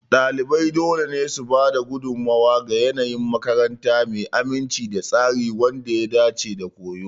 Ɗalibai dole ne su ba da gudummawa ga yanayin makaranta mai aminci da tsari wanda ya dace da koyo.